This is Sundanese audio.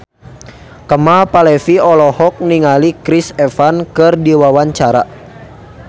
Kemal Palevi olohok ningali Chris Evans keur diwawancara